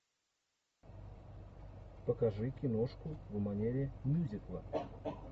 покажи киношку в манере мюзикла